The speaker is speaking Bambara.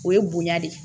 O ye bonya de ye